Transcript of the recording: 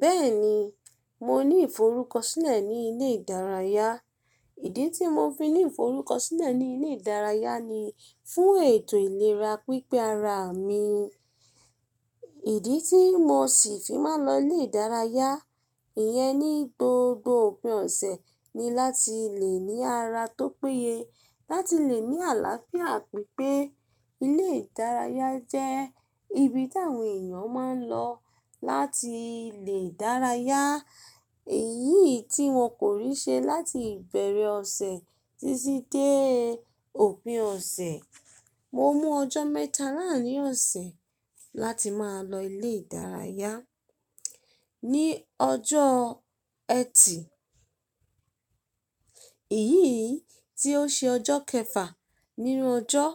Bẹ́ẹ̀ni, mo ní ìforúkọ sílẹ̀ ní ilé ìdárayá. Ìdí tí mo fi ní ìforúkọ sílẹ̀ ní ilé ìdárayá ni fún ètò ìlera pípé ara mi. Ìdí tí mo sì fi máa ń lọ ilé ìdárayá, ìyẹn ni gbogbo òpin ọ̀sẹ̀ ni láti lè ní ara tó péye, láti lè ní àlàáfíà pípé. Ilé ìdárayá jẹ́ ibi tí àwọn èèyàn máa ń lọ láti lè dárayá, èyí tí wọn kò rí ṣe láti ìbẹ̀rẹ̀ ọ̀sẹ̀ títí dé òpin ọ̀sẹ̀. Mo mú ọjọ́ mẹ́ta láàárín ọ̀sẹ̀ láti máa lọ ilé ìdárayá. Ni ọjọ́ Ẹtì, èyí tí ó ṣe ọjọ́ kẹfà nínú ọjọ́,